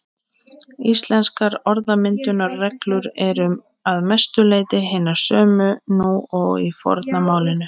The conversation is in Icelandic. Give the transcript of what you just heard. Íslenskar orðmyndunarreglur eru að mestu leyti hinar sömu nú og í forna málinu.